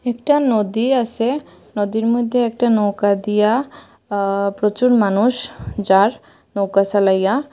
একটা নদী আসে নদীর মইধ্যে একটা নৌকা দিয়া আ প্রচুর মানুষ যার নৌকা চালাইয়া--